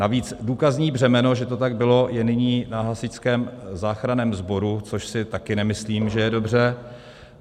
Navíc důkazní břemeno, že to tak bylo, je nyní na Hasičském záchranném sboru, což si také nemyslím, že je dobře.